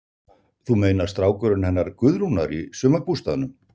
Þú meinar strákurinn hennar Guðrúnar í sumarbústaðnum?